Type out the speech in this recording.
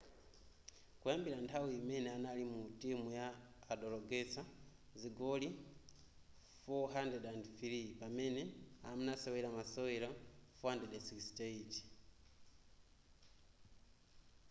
kuyambira nthawi imene anali mu timuyi adagoletsa zigoli 403 pamene anasewera masewero 468